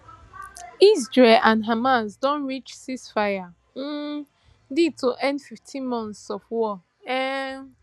israel and hamas don reach ceasefire um deal to end fifteen months of war um